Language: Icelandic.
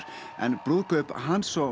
en brúðkaup hans og